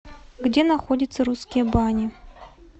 где находится русские бани